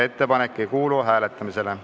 Ettepanek ei kuulu hääletamisele.